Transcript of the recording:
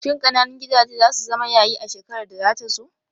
Shin ƙananun gidaje zasu zama yayi a shekarar da zata zo?